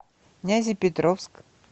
нязепетровск